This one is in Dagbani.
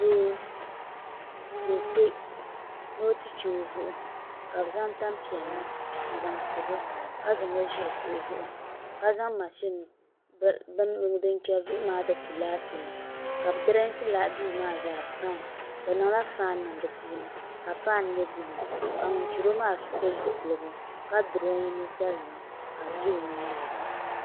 Doo ka o kpɛ ni o ti chɛ o zuɣu ka bi zaŋ tanpiɛlli n zaŋ pobo ka zaŋo ʒili kuɣu zuɣu ka zaŋ mashin din chɛri zuɣu maa ti tu laati ni ka bi dirɛsi duu maa zaa fai bi niŋla faan niŋ di puuni ka faan nyɛ buluu ka ŋun chɛro maa pili zipiligu ka duroyi ninsal nima ka bi bɛ o nyaanga